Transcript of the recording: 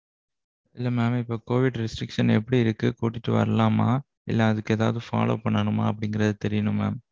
இல்ல mam இப்போ covid restrictions எப்பிடி இருக்கு? கூட்டிட்டு வரலாமா? இல்ல அதுக்கு ஏதாவது follow பன்னணுமா அப்படின்றது தெரியணும் mam.